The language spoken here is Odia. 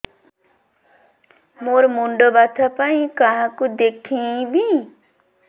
ମୋର ମୁଣ୍ଡ ବ୍ୟଥା ପାଇଁ କାହାକୁ ଦେଖେଇବି